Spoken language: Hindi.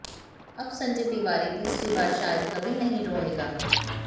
अब संजय तिवारी तीसरी बार शायद कभी नहीं रोयेगा